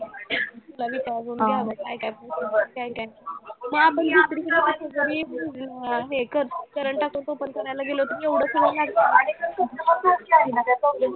तुला मी काय बोलते ऐक आता मग आपण दुसरीकडे कुठेतरी अं हे curr current account open करायला गेलो तर एवढं सगळं लागतं